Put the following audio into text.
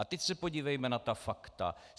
A teď se podívejme na ta fakta.